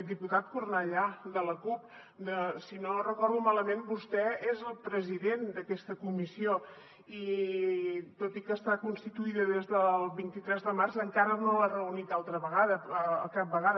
diputat cornellà de la cup si no recordo malament vostè és el president d’aquesta comissió i tot i que està constituïda des del vint tres de març encara no l’ha reunit cap vegada